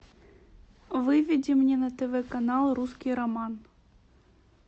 выведи мне на тв канал русский роман